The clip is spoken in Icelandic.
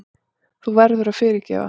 Þú verður að fyrirgefa.